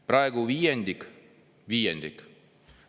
Praegu viiendik, – viiendik!